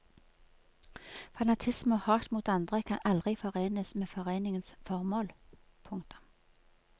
Fanatisme og hat mot andre kan aldri forenes med foreningens formål. punktum